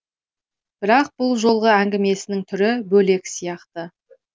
бірақ бұл жолғы әңгімесінің түрі бөлек сияқты